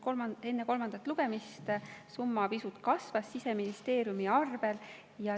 Enne kolmandat lugemist Siseministeeriumi arvel see summa pisut kasvas.